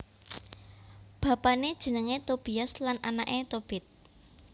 Bapané jenengé Tobias lan anaké Tobit